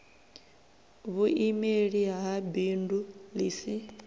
vhuimeli ha bindu ḽi si